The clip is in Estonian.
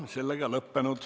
Istung on lõppenud.